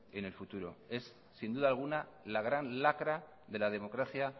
en el futuro es sin duda alguna la gran lacra de la democracia